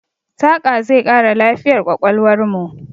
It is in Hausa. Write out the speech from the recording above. Saƙa zai ƙara lafiyar ƙwaƙwalwarmu.